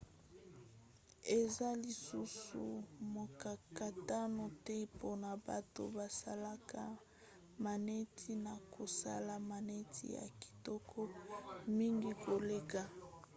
eza lisusu mokakatano te mpona bato basalaka maneti na kosala maneti ya kitoko mingi koleka